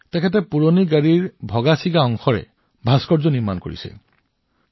তেওঁ automobile metal স্ক্ৰেপৰ পৰা ভাস্কৰ্য তৈয়াৰ কৰিছে